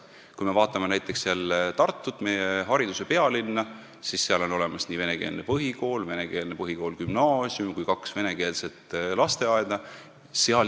Kui me vaatame näiteks Tartut, meie hariduse pealinna, siis seal on olemas venekeelne põhikool, venekeelne põhikool-gümnaasium ja kaks venekeelset lasteaeda.